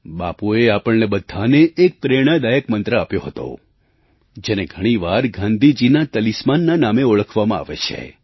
બાપુએ આપણને બધાને એક પ્રેરણાદાયક મંત્ર આપ્યો હતો જેને ઘણી વાર ગાંધીજીના તલિસ્માનના નામે ઓળખવામાં આવે છે